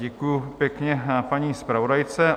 Děkuji pěkně paní zpravodajce.